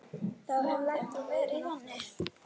Þá hefði hún verið þannig